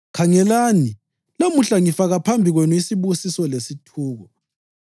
Khangelani, lamuhla ngifaka phambi kwenu isibusiso lesithuko,